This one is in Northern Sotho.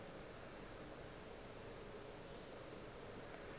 ge a ekwa tšeo a